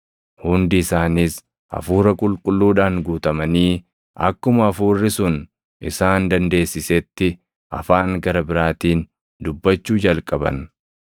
Hundi isaaniis Hafuura Qulqulluudhaan guutamanii akkuma hafuurri sun isaan dandeessisetti afaan gara biraatiin dubbachuu jalqaban.